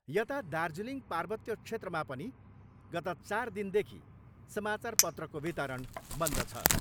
यता दार्जिलिङ पार्वत्य क्षेत्रमा पनि गत चार दिनदेखि समाचारपत्रको वितरण बन्द छ।